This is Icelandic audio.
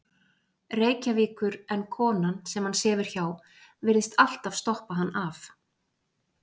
Reykjavíkur en konan, sem hann sefur hjá, virðist alltaf stoppa hann af.